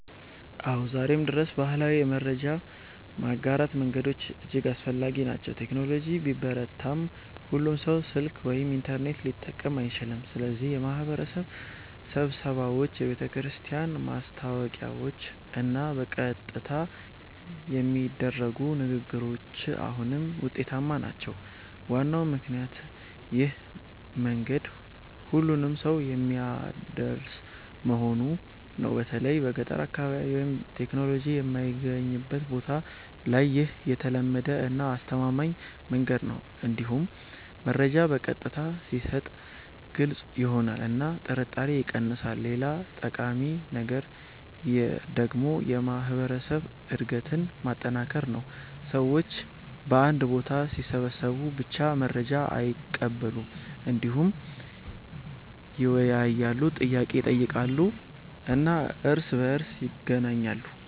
አዎ፣ ዛሬም ድረስ ባህላዊ የመረጃ ማጋራት መንገዶች እጅግ አስፈላጊ ናቸው። ቴክኖሎጂ ቢበረታም ሁሉም ሰው ስልክ ወይም ኢንተርኔት ሊጠቀም አይችልም፣ ስለዚህ የማህበረሰብ ስብሰባዎች፣ የቤተክርስቲያን ማስታወቂያዎች እና በቀጥታ የሚደረጉ ንግግሮች አሁንም ውጤታማ ናቸው። ዋናው ምክንያት ይህ መንገድ ሁሉንም ሰው የሚያደርስ መሆኑ ነው። በተለይ በገጠር አካባቢ ወይም ቴክኖሎጂ የማይገኝበት ቦታ ላይ ይህ የተለመደ እና አስተማማኝ መንገድ ነው። እንዲሁም መረጃ በቀጥታ ሲሰጥ ግልጽ ይሆናል እና ጥርጣሬ ይቀንሳል። ሌላ ጠቃሚ ነገር ደግሞ የማህበረሰብ አንድነትን ማጠናከር ነው። ሰዎች በአንድ ቦታ ሲሰበሰቡ ብቻ መረጃ አይቀበሉም፣ እንዲሁም ይወያያሉ፣ ጥያቄ ይጠይቃሉ እና እርስ በእርስ ይገናኛሉ።